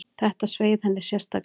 Þetta sveið henni sérstaklega.